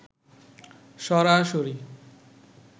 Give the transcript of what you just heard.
সরাসরি